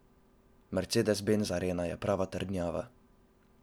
Mercedes Benz Arena je prava trdnjava.